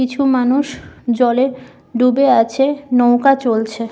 কিছু মানুষ জলে ডুবে আছে নৌকা চলছে।